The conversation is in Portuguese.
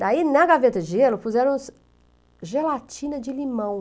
Daí, na gaveta de gelo, puseram gelatina de limão.